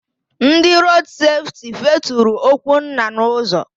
Ndị Rood Sefti feturu Okwunna n'ụzọ.